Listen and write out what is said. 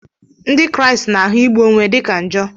Ndị Kraịst na-ahụ igbu onwe dị ka njọ.